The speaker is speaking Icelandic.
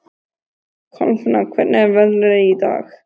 Kolfinna, hvernig er veðrið í dag?